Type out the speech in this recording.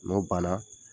N'o banna